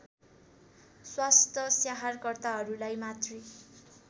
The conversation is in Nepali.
स्वास्थ्य स्याहारकर्ताहरूलाई मातृ